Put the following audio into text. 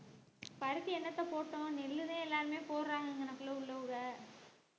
பருத்தி என்னத்தை போட்டோம் நெல்லுதான் எல்லாருமே போடுறாங்க இங்கனக்குள்ள உள்ளவங்க